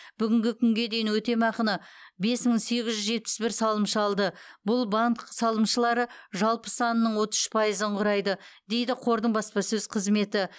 бүгінгі күнге дейін өтемақыны бес мың сегіз жүз жетпіс бір салымшы алды бұл банк салымшылары жалпы санының отыз үш пайызын құрайды дейді қордың баспасөз қызметі